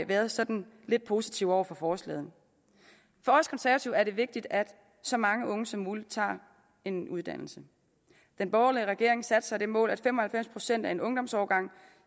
været sådan lidt positive over for forslaget for os konservative er det vigtigt at så mange unge som muligt tager en uddannelse den borgerlige regering satte sig det mål at fem og halvfems procent af en ungdomsårgang